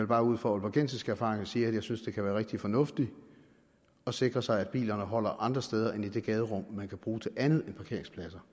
bare ud fra aalborgensiske erfaringer sige at jeg synes at det kan være rigtig fornuftigt at sikre sig at bilerne holder andre steder end i det gaderum man kan bruge til andet end parkeringspladser